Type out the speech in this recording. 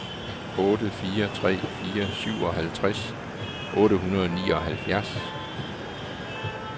otte fire tre fire syvoghalvtreds otte hundrede og nioghalvfjerds